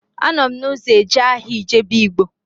Anọ m n'ụzọ eje ahịa Ijebu Ịgbo